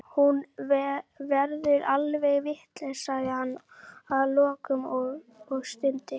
Hún verður alveg vitlaus, sagði hann að lokum og stundi.